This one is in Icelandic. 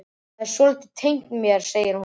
Það er svolítið tengt mér, segir hún.